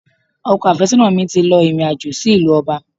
Ọkọ àfésónà mi ti lọ ìrìn àjò sí ìlú Ọba